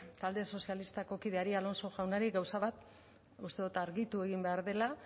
talde sozialistako kideari alonso jaunari gauza bat uste dut argitu egin behar dela